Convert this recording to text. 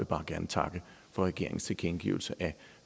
bare gerne takke for regeringens tilkendegivelse af